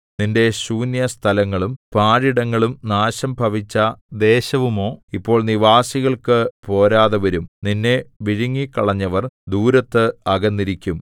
നിന്റെ ശൂന്യസ്ഥലങ്ങളും പാഴിടങ്ങളും നാശം ഭവിച്ച ദേശവുമോ ഇപ്പോൾ നിവാസികൾക്കു പോരാതെവരും നിന്നെ വിഴുങ്ങിക്കളഞ്ഞവർ ദൂരത്ത് അകന്നിരിക്കും